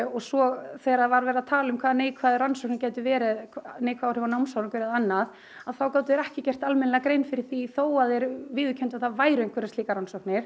svo þegar var verið að tala um hver neikvæðu rannsóknir gætu verið um neikvæð áhrif á námsárangur og annað þá gátu þeir ekki gert almennilega grein fyrir því þó að þeir viðurkenndu að það væru einhverjar slíkar rannsóknir